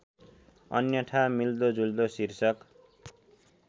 अन्यथा मिल्दोजुल्दो शीर्षक